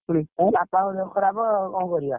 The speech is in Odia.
ହଁ ବାପାଙ୍କ ଦେହ ଖରାପ ଆଉ କଣ କରିଆ?